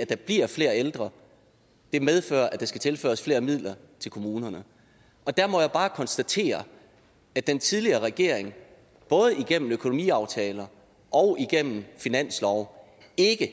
at der bliver flere ældre medfører at der skal tilføres flere midler til kommunerne der må jeg bare konstatere at den tidligere regering både igennem økonomiaftaler og igennem finanslove ikke